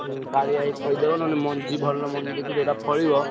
ହୁଁ କାଳିଆ ଭାଇ କହିଦବ ନହେଲେ ମଞ୍ଜି ଭଲ ମଞ୍ଜି ଦେଖି ଯୋଉଟା ଫଳିବ।